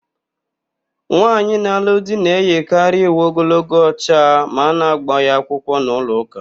Nwaanyị na-alụ di na-eyikarị uwe ogologo ọcha ma a na-ágbà ya akwụkwọ n'ụlọụka.